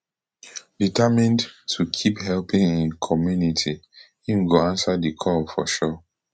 determined to keep helping im community im go answer di call for sure